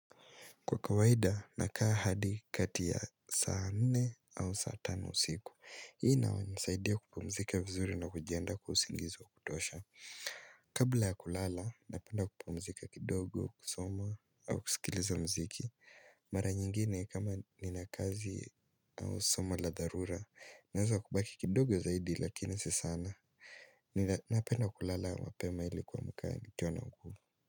Kwa kawaida, nakaa hadi kati ya saa nne au saa tano usiku. Hii inanisaidia kupumzika vizuri na kujiandaa kwa usingizi wa kutosha. Kabla ya kulala, napenda kupumzika kidogo, kusomo au kusikiliza mziki. Mara nyingine kama nina kazi au somo la dharura. Naeza kubaki kidogo zaidi lakini si sana. Napenda kulala mapema hili kuamka nikiwa na nguvu.